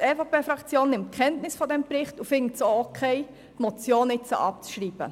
Die EVP-Fraktion nimmt Kenntnis von diesem Bericht und findet es in Ordnung, den Vorstoss jetzt abzuschreiben.